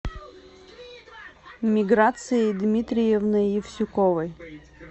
миграцией дмитриевной евсюковой